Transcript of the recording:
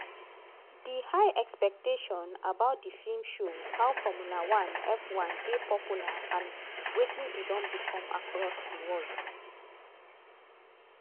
di high expectation about di feem show how formula one (f1) dey popular and wetin e don become across di world.